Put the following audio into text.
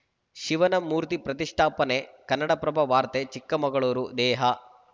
ಶಿವನ ಮೂರ್ತಿ ಪ್ರತಿಷ್ಠಾಪನೆ ಕನ್ನಡಪ್ರಭ ವಾರ್ತೆ ಚಿಕ್ಕಮಗಳೂರು ದೇಹ